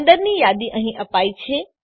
અંદરની યાદી અહીં અપાયી છે